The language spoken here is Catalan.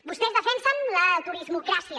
vostès defensen la turismocràcia